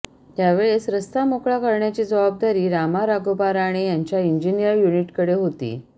त्यावेळेस रस्ता मोकळा करण्याची जबाबदारी रामा राघोबा राणे यांच्या इंजिनीअर युनिट कडे होती